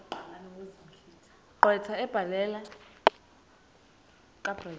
gqwetha kabrenda ebhalela